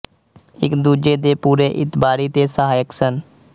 ਇੱਕ ਦੂਜੇ ਦੇ ਪੂਰੇ ਇਤਬਾਰੀ ਤੇ ਸਹਾਇਕ ਸਨ